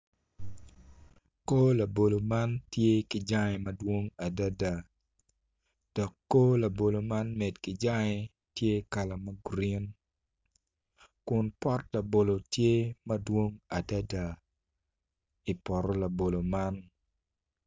Kor labolo man tye ki jangge madwong adada dok kor labolo man med ki jangge tye kala ma gurin ku pot labolo tye madwong adada i poto labolo man